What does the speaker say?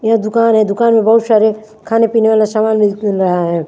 यह दुकान है दुकान में बहुत सारे खाने पीने वाला सामान मिल रहा है।